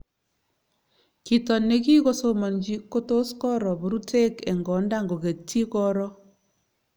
chito negigosomanji kotus koro puruteg eng konda ngogetji koro